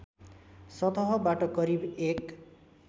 सतहबाट करिब एक